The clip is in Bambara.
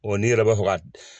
O ni yɛrɛ b'a fɛ ka.